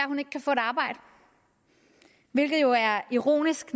hun ikke kan få et arbejde hvilket jo er ironisk